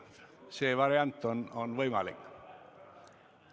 See variant on võimalik.